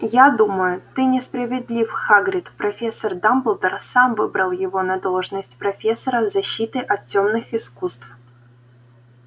я думаю ты несправедлив хагрид профессор дамблдор сам выбрал его на должность профессора защиты от тёмных искусств